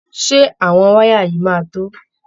Ṣé àwọn wáyà yìí máa to?